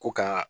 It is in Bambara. Ko ka